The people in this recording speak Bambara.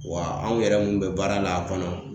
Wa anw yɛrɛ mun bɛ baara la a kɔnɔ